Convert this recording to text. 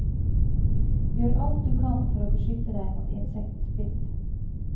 Gjør alt du kan for å beskytte deg mot insektbitt.